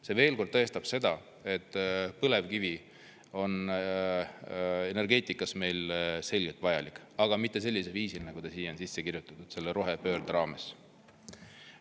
See veel kord tõestab seda, et põlevkivi on energeetikas meile selgelt vajalik, aga mitte sellisel viisil, nagu ta siia on sisse kirjutatud selle rohepöörde raames.